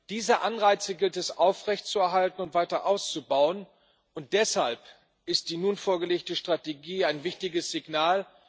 Diese Anreize gilt es aufrecht zu erhalten und weiter auszubauen, und deshalb ist die nun vorgelegte Strategie ein wichtiges Signal.